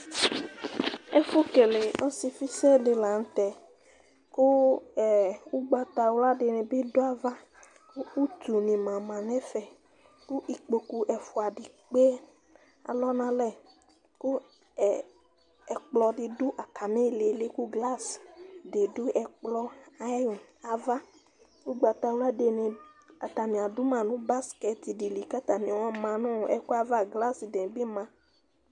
Ɛfu kélévɔsiƒi sɛ laŋtɛ Ku ugbata wlua dinibi du ava, Ku utu ni na ma nɛ fɛ Ku ikpokpu ɛfua di ékpé alɔnalɛ Ku ɛkplɔ di du atami lili ku glas di du ɛkplɔ ayi ava Ugbata wla dini atani aduma nu basket dili ka atani ayɔma nu ɛkuɛ va Glas dibi mɑ